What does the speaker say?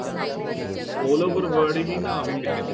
all over world ਹੀ ਨਾ ਆਵੇ ਕਿਸੇ ਤੇ